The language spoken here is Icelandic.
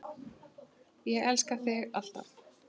Ég elska þig alltaf.